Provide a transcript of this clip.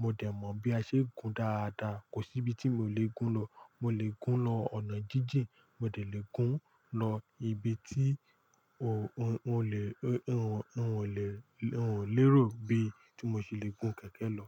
Mo dẹ̀ mọ bí a ṣe ń gun dáadáa. Kò sí ibi tí mo lè gun lọ. Mo lè gun lọ ọ̀nà jíjìn, mo delè gun lọ ibi tí n ò lè, n ò lè, n ò lérò bí tí mo ṣe le gun kẹ̀kẹ́ lọ.